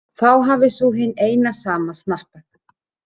Þá hafi sú hin sama snappað?